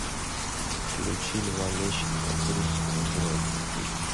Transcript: включи льва лещенко трус не играет в хоккей